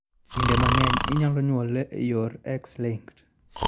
Kinde mang'eny, inyalo nyuole e yor X linked.